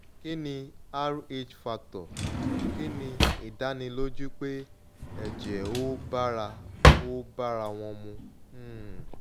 kini rh factor? kini idaniloju pe ejee o bara o bara won mu um